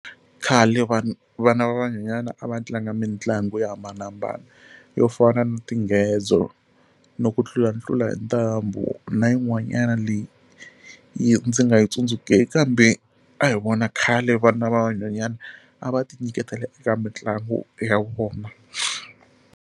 Khale vanhu vana van'wanyana a va tlanga mitlangu yo hambanahambana yo fana na tingedzo no ku tlulatlula hi ntambu na yin'wanyana leyi yi ndzi nga yi tsundzukeki kambe a hi vona khale vana van'wanyana a va ti nyiketela eka mitlangu ya vona.